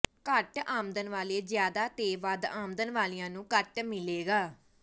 ਘੱਟ ਆਮਦਨ ਵਾਲੇ ਜ਼ਿਆਦਾ ਤੇ ਵੱਧ ਆਮਦਨ ਵਾਲਿਆਂ ਨੂੰ ਘੱਟ ਮਿਲੇਗਾ